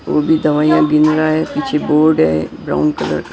वो भी दवाइयां गिन रहा है पीछे बोर्ड है ब्राउन कलर का।